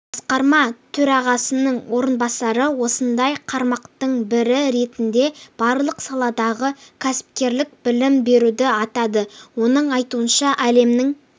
басқарма төрағасының орынбасары осындай қармақтың бірі ретінде барлық саладағы кәсіпкерлік білім беруді атады оның айтуынша әлемнің